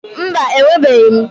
Mba, enwebughi.